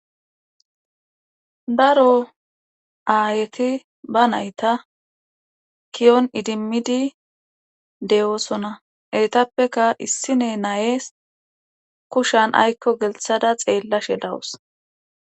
daro aayeti ba nayta kiyon idimmidi de7oosona eetappeka issine nayees kushan aykko gelthada xeellashe dawus